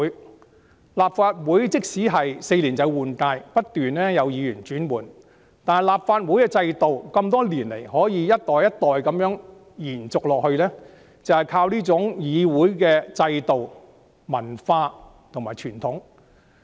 即使立法會每4年換屆，不斷有議員更替，但立法會的制度多年來可以一直延續下去，就是靠這種議會制度、文化和傳統。